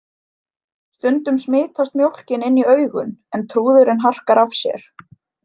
Stundum smitast mjólkin inn í augun en trúðurinn harkar af sér.